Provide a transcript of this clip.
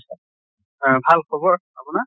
অহ ভাল খবৰ আপোনাৰ?